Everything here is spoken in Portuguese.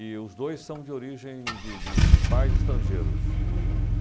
E os dois são de origem de de de pais estrangeiros. O